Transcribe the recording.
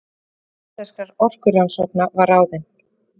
Forstjóri Íslenskra orkurannsókna var ráðinn